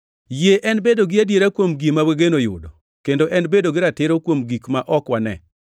Yie en bedo gi adiera kuom gima wageno yudo kendo en bedo gi ratiro kuom gik ma ok wane.